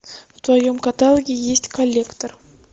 в твоем каталоге есть коллектор